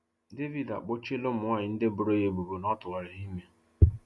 Davido akpọchịela ụmụnwanyị ndị boro ya ebubo na ọ tụwara ha ime.